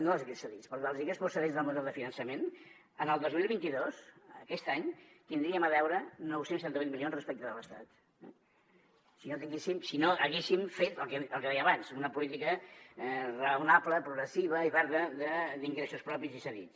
no els ingressos cedits perdó els ingressos procedents del model de finançament el dos mil vint dos aquest any tindríem a deure nou cents i setanta vuit milions respecte de l’estat si no haguéssim fet el que deia abans una política raonable progressiva i verda d’ingressos propis i cedits